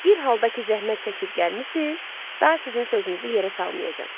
Bir halda ki, zəhmət çəkib gəlmisiz, daha sizin sözünüzü yerə salmayacam.